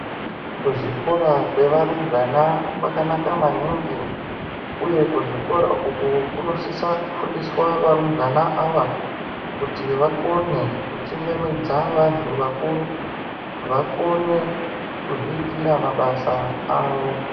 Kuzvikora kwevarumbwana kwakanaka maningi uye kuzvikora uku kunosvitsa kufundisa varumbwana ava kuti vakone kuchingamidza vantu vakuru vakone kuzviitira mabasa avo .